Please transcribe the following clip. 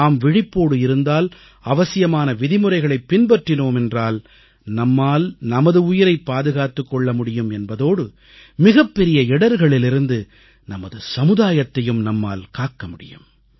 நாம் விழிப்போடு இருந்தால் அவசியமான விதிமுறைகளைப் பின்பற்றினோம் என்றால் நம்மால் நமது உயிரைப் பாதுகாத்துக் கொள்ள முடியும் என்பதோடு மிகப்பெரிய இடர்களிலிருந்து நமது சமுதாயத்தையும் நம்மால் காக்க முடியும்